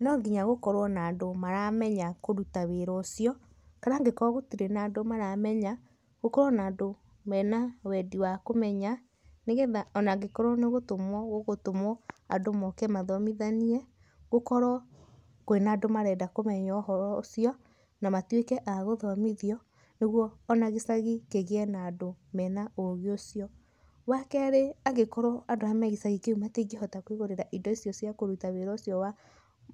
Nonginya gũkorwo na andũ maramenya kũruta wĩra ũcio, kana angĩkorwo gũtirĩ na andũ maramenya, gũkorwo na andũ mena wendi wa kũmenya nĩgetha ona angĩkorwo nĩgũtũmwo gũgũtũmwo andũ moke mathomithanie, gũkorwo kwĩna andũ marenda kũmenya ũhoro ũcio na matuĩke a gũthomithio, nĩgwo ona gĩcagi kĩgĩe na andũ mena ũgĩ ũcio. Wakerĩ angĩkorwo andũ arĩa me gĩcagi kĩu matingĩhota kwĩgũrĩra indo icio cia kũruta wĩra ũcio wa